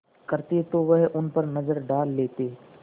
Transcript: करते तो वह उन पर नज़र डाल लेते